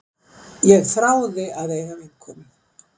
Ég þráði að eiga vinkonu.